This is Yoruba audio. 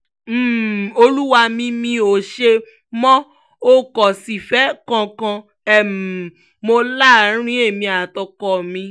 um olúwa mi mi ò ṣe mọ́ o kò sífẹ̀ẹ́ kankan um mọ́ láàrin èmi àti ọkọ mi